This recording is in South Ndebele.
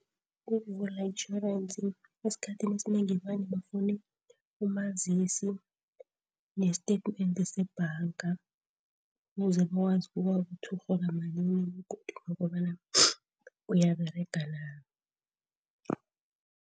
Ukuvula itjhorensi esikhathini esinengi vane bafune umazisi nesitatimende sebhanga, ukuze bakwazi ukubona ukuthi urhola malini begodu nokobana uyaberega na.